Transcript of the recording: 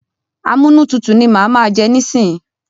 Amúnútutù ni mà á má jẹ nísíyí.